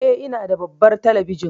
Eh, ina da babbar talabijin